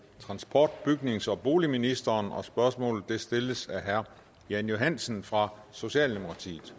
transport bygnings og boligministeren spørgsmålet stilles af herre jan johansen fra socialdemokratiet